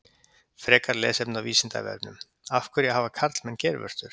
Frekara lesefni á Vísindavefnum: Af hverju hafa karlmenn geirvörtur?